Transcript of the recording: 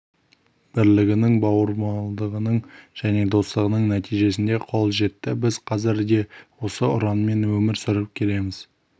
бірлігінің бауырмалдығының және достығының нәтижесінде қол жетті біз қазір де осы ұранмен өмір сүріп келеміз